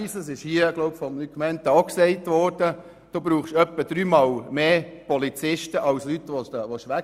Wie Luc Mentha auch erwähnt hat, braucht es für eine Wegweisung etwa dreimal mehr Polizisten als Wegzuweisende.